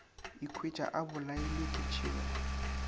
ikhwetša a bolailwe ke tšhego